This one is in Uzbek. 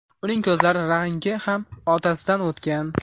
Uning ko‘zlari rangi ham otasidan o‘tgan.